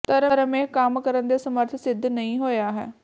ਧਰਮ ਇਹ ਕੰਮ ਕਰਨ ਦੇ ਸਮਰਥ ਸਿੱਧ ਨਹੀ ਹੋਇਆ ਹੈ